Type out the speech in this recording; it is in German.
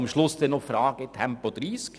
Am Schluss kommt noch die Frage zu Tempo 30.